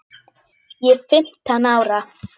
Ég er fimmtán ára.